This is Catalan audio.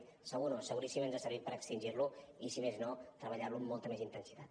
segur no seguríssim que ens ha servit per extingir lo i si més no treballar lo amb molta més intensitat